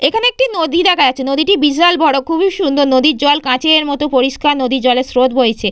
এখানে একটি নদী দেখা যাচ্ছে। নদীটি বিশাল বড় খুবই সুন্দর নদীর জল কাঁচের মতো পরিষ্কার নদীর জলে স্রোত বইছে।